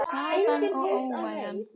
Harðan og óvæginn.